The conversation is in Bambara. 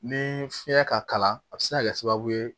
Ni fiɲɛ ka kalan a bi se ka kɛ sababu ye